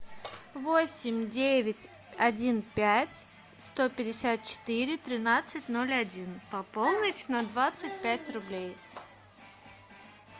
восемь девять один пять сто пятьдесят четыре тринадцать ноль один пополнить на двадцать пять рублей